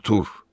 Artur!